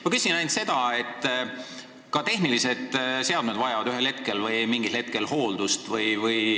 Ma küsin ainult selle kohta, et ka tehnilised seadmed vajavad mingil hetkel hooldust.